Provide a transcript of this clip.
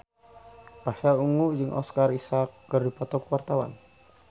Pasha Ungu jeung Oscar Isaac keur dipoto ku wartawan